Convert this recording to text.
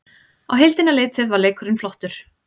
Á heildina litið var leikurinn flottur